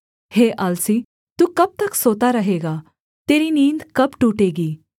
हे आलसी तू कब तक सोता रहेगा तेरी नींद कब टूटेगी